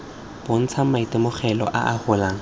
bontsha maitemogelo a a golang